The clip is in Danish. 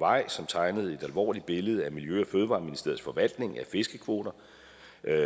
vej som tegnede et alvorligt billede af miljø og fødevareministeriets forvaltning af fiskekvoter